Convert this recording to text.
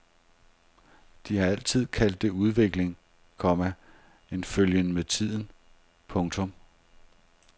De har altid kaldt det udvikling, komma en følgen med tiden. punktum